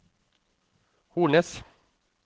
Hornnes